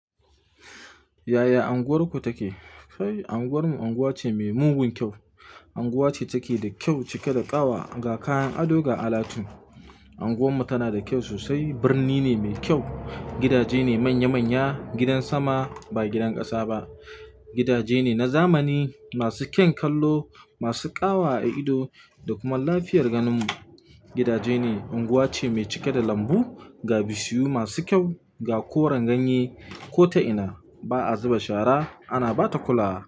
Yaya anguwarku take? Anguwarmu anguwa ce mai mugun kyau. Anguwa ce take da kyau, cike da ƙawa ga kayan ado ga alatu. Anguwarmu tana da kyau sosai, birni ne mai kyau. Gidaje ne manya manya, gidan sama ba gidan ƙasa ba. Gidaje ne na zamani masu kyan kallo, masu ƙawa a ido da kuma lafiyar ganin mu. Gidaje ne unguwa ce mai cike da lambu ga bishiyu masu kyau ga koren ganye ko ta ina. Ba a zuba shara ana ba ta kulawa.